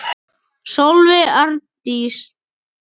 Sólveig Arndís.